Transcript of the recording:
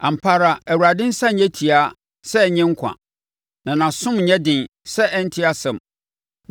Ampa ara Awurade nsa nyɛ tiaa sɛ ɛrennye nkwa, na nʼasom nyɛ den sɛ ɛrente asɛm.